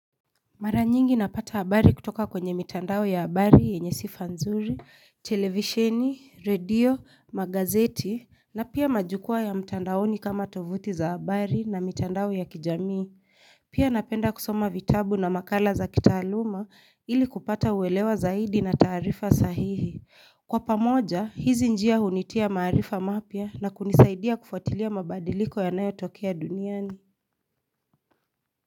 Mara nyingi napata habari kutoka kwenye mitandao ya habari yenye sifa nzuri, televisheni, radio, magazeti, na pia majukwaa ya mtandaoni kama tovuti za habari na mitandao ya kijamii. Pia napenda kusoma vitabu na makala za kitaaluma ili kupata uelewa zaidi na taarifa sahihi. Kwa pamoja, hizi njia hunitia maarifa mapya na kunisaidia kufuatilia mabadiliko yanayotokea duniani.